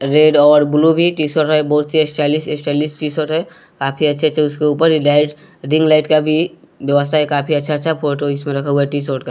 Red और blue भी T shirt है बहुत ही स्टाइलिश स्टाइलिश टीशर्ट है काफी अच्छे-अच्छे उसके ऊपर लाइट रिंग लाइट का भी व्यवस्था है काफी अच्छा-अच्छा फोटो इसमें रखा हुआ है टी शॉर्ट का।